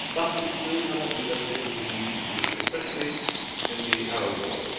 But it still cannot do everything that we need to do, especially in the Arab world.